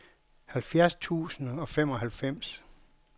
halvfjerds tusind og femoghalvfems